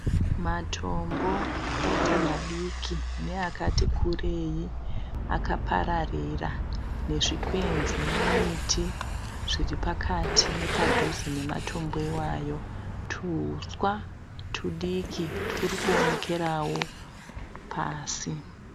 Matombo akaita madiki neakati kurei akapararira nezvikwenzi nemiti zviripakati nepadhuze nematombo iwayo tuhuswa tudiki turikuonekerawo pasi.